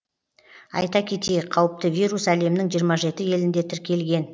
айта кетейік қауіпті вирус әлемнің жиырма жеті елінде тіркелген